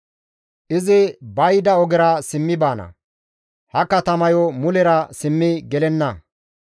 Izi ba yida ogera simmi baana; ha katamayo mulera simmi gelenna.